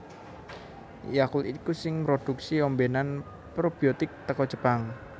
Yakult iku sing mroduksi ombenan probiotik teko Jepang